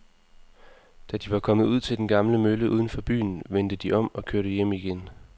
Da de var kommet ud til den gamle mølle uden for byen, vendte de om og kørte hjem igen.